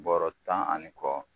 Bɔrɔ tan ani kɔ